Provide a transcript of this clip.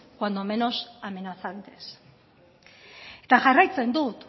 cuando menos amenazantes eta jarraitzen dut